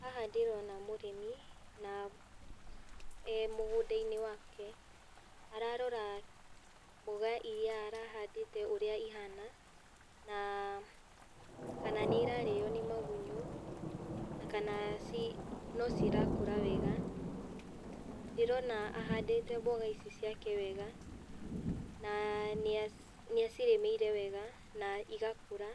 Haha ndĩrona mũrĩmi na e mũgunda-inĩ wake. Ararora mboga irĩa arahandĩte ũrĩa ihana, na kana nĩirarĩo nĩ magunyo na kana no cirakũra wega. Ndĩrona ahandĩte mboga ici ciake wega na nĩ acirĩmĩire wega na igakũra